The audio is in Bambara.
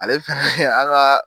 Ale fana an ka.